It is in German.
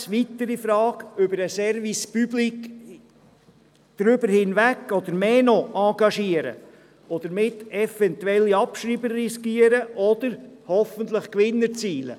: Soll sich die BLS AG über den Service Public hinaus engagieren und damit eventuelle Abschreiber riskieren oder, hoffentlich, Gewinn erzielen?